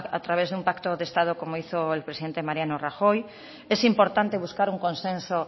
a través de un pacto de estado como hizo el presidente mariano rajoy es importante buscar un consenso